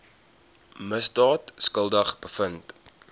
misdaad skuldig bevind